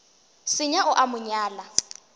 senya o a mo nyala